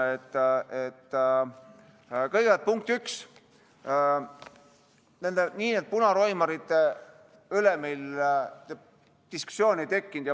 Kõigepealt, nende nn punaroimarite üle meil diskussiooni ei tekkinud.